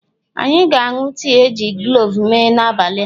Anyị ga-aṅụ tii e ji kloves mee n'abalị a.